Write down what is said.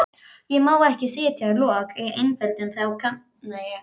Ég má ekki setja lok á eiturgufurnar, þá kafna ég.